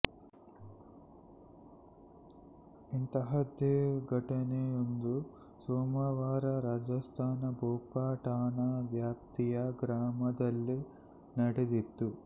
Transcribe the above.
ಇಂತಹದ್ದೇ ಘಟನೆಯೊಂದು ಸೋಮವಾರ ರಾಜಸ್ಥಾನದ ಭೋಪಾ ಠಾಣಾ ವ್ಯಾಪ್ತಿಯ ಗ್ರಾಮದಲ್ಲಿ ನಡೆದಿತ್ತು